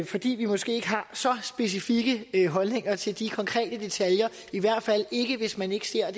fordi vi måske ikke har så specifikke holdninger til de konkrete detaljer i hvert fald ikke hvis man ikke ser